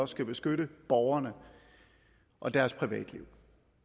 skal beskytte borgerne og deres privatliv